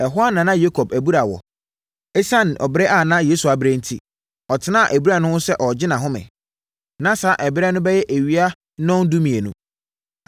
Ɛhɔ na na Yakob abura wɔ. Esiane ɔbrɛ a na Yesu abrɛ enti, ɔtenaa abura no ho sɛ ɔregye nʼahome. Na saa ɛberɛ no bɛyɛ awia nnɔndumienu.